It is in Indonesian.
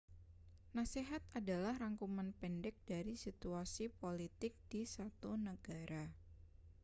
nasihat adalah rangkuman pendek dari situasi politik di 1 negara